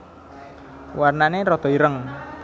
Warnané rada ireng